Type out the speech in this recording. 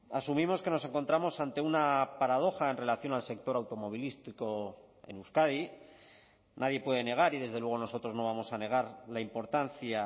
asumimos que nos encontramos ante una paradoja en relación al sector automovilístico en euskadi nadie puede negar y desde luego nosotros no vamos a negar la importancia